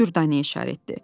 O Dürdanəyə işarət etdi.